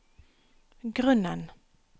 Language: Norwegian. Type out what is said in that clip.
grunnen